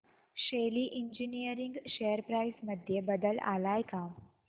शेली engineering share price मध्ये बदल आलाय का